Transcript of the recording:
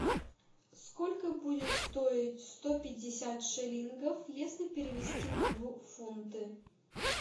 сколько будет стоить сто пятьдесят шиллингов если перевести в фунты